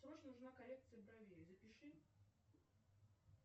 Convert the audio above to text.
срочно нужна коррекция бровей запиши